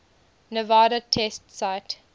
nevada test site